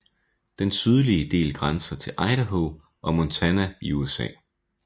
Den sydlige del grænser til Idaho og Montana i USA